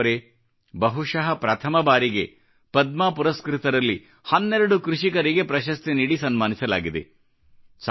ದೇಶಬಾಂಧವರೇ ಬಹುಶಃ ಪ್ರಥಮ ಬಾರಿಗೆ ಪದ್ಮ ಪುರಸ್ಕøತರಲ್ಲಿ 12 ಕೃಷಿಕರಿಗೆ ಪ್ರಶಸ್ತಿ ನೀಡಿ ಸನ್ಮಾನಿಸಲಾಗಿದೆ